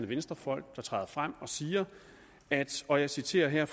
venstrefolk der træder frem og siger og jeg citerer her